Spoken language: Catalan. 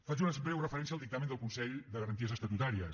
faig una breu referència al dictamen del consell de garanties estatutàries